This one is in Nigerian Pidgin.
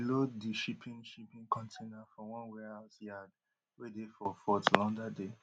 dem bin load di shipping shipping container for one warehouse yard wey dey for fort lauderdale